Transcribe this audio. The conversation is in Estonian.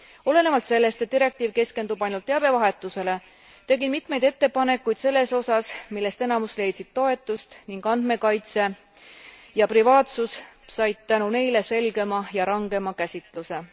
Olenevalt sellest, et direktiiv keskendub ainult teabevahetusele, tegin mitmeid ettepanekuid selles osas, millest enamus leidsid toetust, ning andmekaitse ja privaatusus said tänu neile selgema ja rangema käsitluse.